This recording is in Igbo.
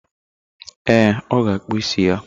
Ee, ọ ga akpụ isi ya.